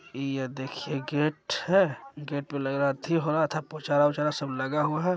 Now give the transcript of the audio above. ये देखीय ये गेट है गेट पे लग रहा पोछारा विचारा सब लगा हुआ है।